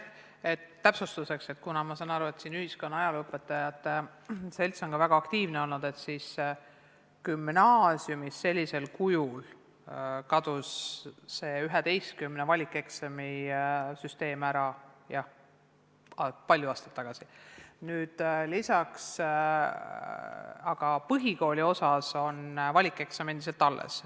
Täpsustuseks, kuna ma saan aru, et siin ühiskonna- ja ajalooõpetajate selts on ka väga aktiivne olnud, siis gümnaasiumis sellisel kujul kadus see 11 valikeksami süsteem ära juba palju aastaid tagasi, aga põhikooli osas on valikeksam endiselt alles.